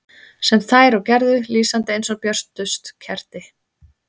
Sem þær og gerðu, lýsandi eins og björtust kerti.